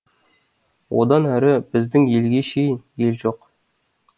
одан әрі біздің елге шейін ел жоқ